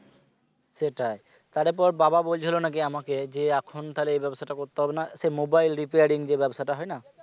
সেটাই তারপর বাবা বলছিল নাকি আমাকে যে এখন তাহলে এই ব্যবসাটা করতে হবে না সে mobile repairing যে ব্যবসাটা হয় না